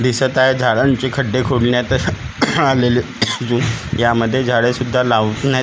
दिसत आहे झाडांचे खड्डे खोदण्यात आलेले असून यामध्ये झाडे सुद्धा लावण्यात येत ना--